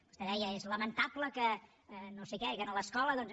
vostè deia és lamentable que no sé què que a l’escola doncs